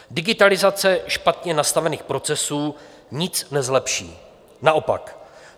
Digitalizace špatně nastavených procesů nic nezlepší, naopak.